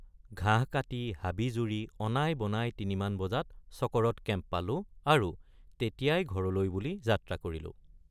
ঘাঁহ কাটি হাবি জুৰি অনাইবনাই তিনিমান বজাত চকৰদ কেম্প পালো আৰু তেতিয়াই ঘৰলৈ বুলি যাত্ৰা কৰিলো।